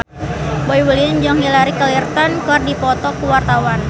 Boy William jeung Hillary Clinton keur dipoto ku wartawan